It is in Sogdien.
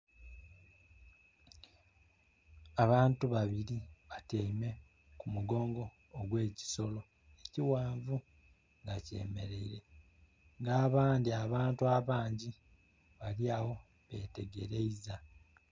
Abantu babiri batyeime ku mugongo ogw'ekisolo ekighanvu nga kyemeleire nga abandi abantu abangi bali agho betegereiza.